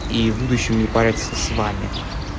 и в будущем не париться с вами